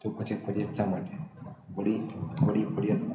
તો પછી ફરિયાદ શા માટે વાદે વાદે ફરિયાદ